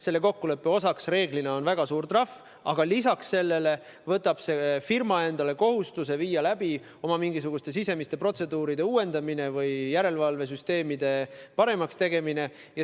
Selle kokkuleppe osaks on reeglina väga suur trahv, aga lisaks sellele võtab firma endale kohustuse viia läbi oma sisemiste protseduuride uuendamine või järelevalvesüsteemide paremaks tegemine.